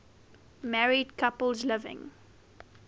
married couples living